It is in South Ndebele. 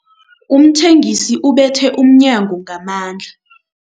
Umthengisi ubethe umnyango ngamandla.